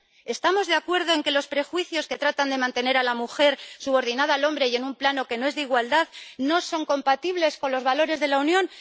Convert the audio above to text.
¿Estamos de acuerdo en que los prejuicios que tratan de mantener a la mujer subordinada al hombre y en un plano que no es de igualdad no son compatibles con los valores de la Unión?